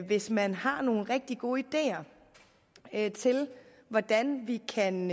hvis man har nogle rigtig gode ideer til hvordan vi kan